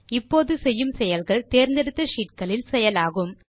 இப்போது செய்யும் செயல்கள் தேர்ந்தெடுத்த ஷீட் களில் செயலாகும்